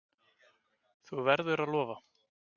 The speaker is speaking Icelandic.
Þú verður að lofa!